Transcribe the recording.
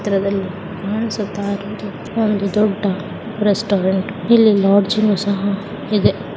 ಈ ಚಿತ್ರದಲ್ಲಿ ಕಾಣಿಸುತ್ತಾ ಇರೋದು ಒಂದು ದೊಡ್ಡ ರೆಸ್ಟೋರೆಂಟ್ . ಇಲ್ಲಿ ಸಹಾ ಇದೆ